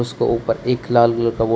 उसके ऊपर एक लाल कलर बोर्ड --